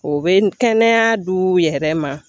O bɛ kɛnɛya du yɛrɛ ma